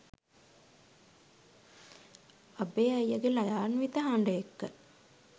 අබේ අයියගේ ළයාන්විත හඬ එක්ක